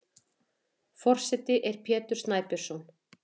Forseti er Pétur Snæbjörnsson.